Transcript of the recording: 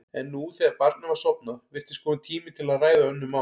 En nú, þegar barnið var sofnað, virtist kominn tími til að ræða önnur mál.